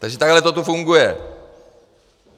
Takže takhle to tu funguje!